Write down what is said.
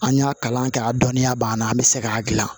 An y'a kalan kɛ a dɔnniya b'an na an bɛ se k'a gilan